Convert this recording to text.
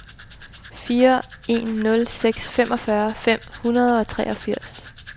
fire en nul seks femogfyrre fem hundrede og treogfirs